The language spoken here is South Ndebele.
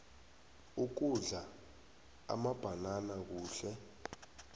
ukudla amabhanana kuhle